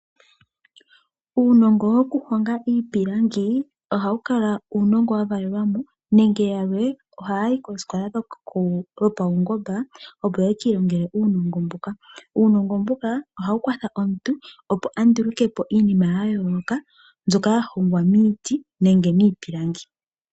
Uunongo wokuhonga iipilangi ohawu kala uunongo wavalelwamo nenge yalwe ohayayi kosikola dhopawungomba opo yakiilongele uunongo mbuka. Uunongo mbuka ohawu kwatha omuntu opo andulukepo iinima yayooloka mbyoka yahongwa miiti nenge miipilangi.